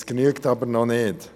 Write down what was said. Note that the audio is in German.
Das genügt aber noch nicht.